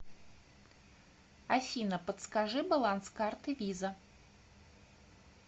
афина подскажи баланс карты виза